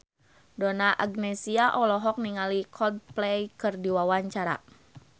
Donna Agnesia olohok ningali Coldplay keur diwawancara